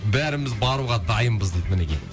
бәріміз баруға дайынбыз дейді мінекей